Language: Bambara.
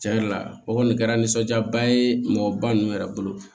Tiɲɛ yɛrɛ la o kɔni kɛra nisɔndiyaba ye mɔgɔba ninnu yɛrɛ bolo